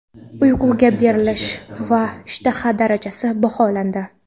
Uyquga berilish va ishtaha darajasi baholandi.